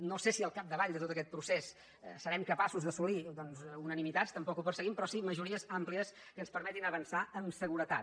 no sé si al capdavall de tot aquest procés serem capaços d’assolir doncs unanimitats tampoc ho perseguim però sí majories àmplies que ens permetin avançar amb seguretat